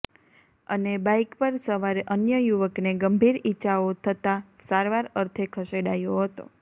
અને બાઈક પર સવાર અન્ય યુવકને ગંભીર ઈજાઓ થતા સારવાર અર્થે ખસેડાયો હતો